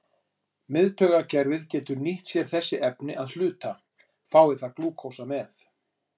Miðtaugakerfið getur nýtt sér sér þessi efni að hluta, fái það glúkósa með.